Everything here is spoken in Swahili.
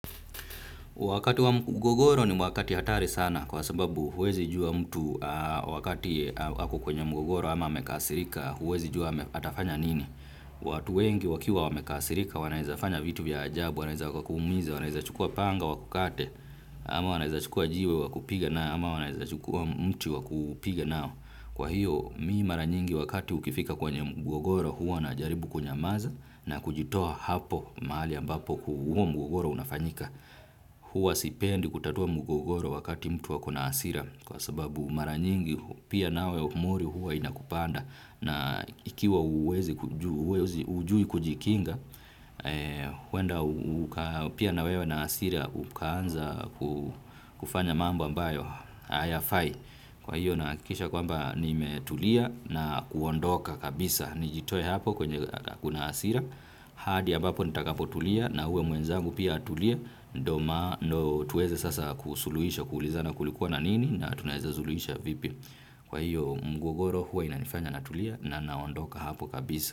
Wakati wa mgogoro ni wakati hatari sana kwa sababu huwezi jua mtu wakati ako kwenye mgogoro ama amekasirika huwezi jua atafanya nini. Watu wengi wakiwa wamekasirika wanaweza fanya vitu vya ajabu, wanaweza kakuumiza, wanaweza chukua panga wakukate ama wanaweza chukua jiwe wakupiga nao ama wanaweza chukua mti wakupiga nao. Kwa hiyo mimi mara nyingi wakati ukifika kwenye mgogoro huwa najaribu kunyamaza na kujitoa hapo mahali ambapo huo mgogoro unafanyika. Huwa sipendi kutatua mgogoro wakati mtu ako na hasira kwa sababu mara nyingi pia nawe mori huwa inakupanda. Na ikiwa hujui kujikinga huenda pia na wewe na hasira ukaanza kufanya mambo ambayo hayafai kwa hiyo nahakikisha kwamba nimetulia na kuondoka kabisa. Nijitoe hapo kwenye kuna hasira. Hadi ambapo nitakapotulia na huo mwenzangu pia atulie. Ndiyo tuweze sasa kusuluhisha. Kuulizana kulikuwa na nini. Na tunaweze suluhisha vipi. Kwa hiyo mgogoro huwa inanifanya natulia. Na naondoka hapo kabisa.